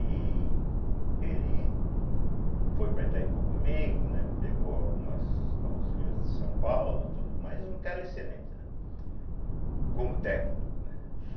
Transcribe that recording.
E ele foi para Itaipu comigo, né, pegou algumas alguns rios de São Paulo, tudo, mas um cara excelente,, né, como técnico, né.